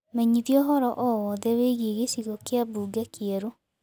menyithia ũhoro o wothe wigie gicigo kia bũnge kieru